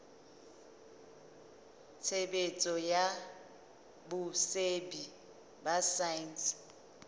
tshebetso ya botsebi ba saense